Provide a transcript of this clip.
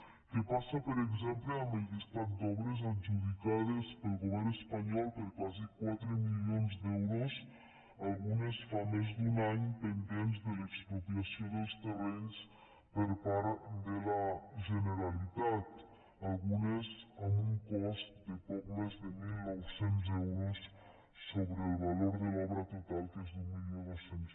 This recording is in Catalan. què passa per exemple amb el llistat d’obres adjudicades pel govern espanyol per quasi quatre milions d’euros algunes fa més d’un any pendents de l’expropiació dels terrenys per part de la generalitat algunes amb un cost de poc més de mil nou cents euros sobre el valor de l’obra total que és d’mil dos cents